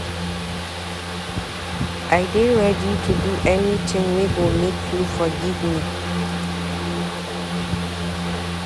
I dey ready to do anytin wey go make you forgive me.